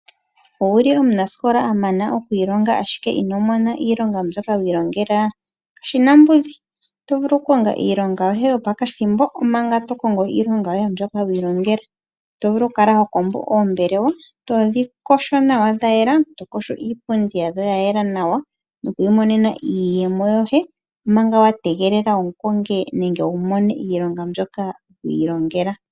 Owuli omunasikola amana ndele ino mona iilonga mbyoka wiilongela kashina ombudhi. Oto vulu okukonga iilonga yoye yopakathimbo omanga to kongo iilonga yoye mbyoka wiilongela, oto vulu okukala hokombo oombelewa todhi yogo nawa dhayela, to yogo iipundi yadho yayela nawa nokwiimonena iiyemo yoye omanga wategelela okumona iilonga mbyoka wiilongela.